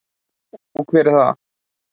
Og hver er það?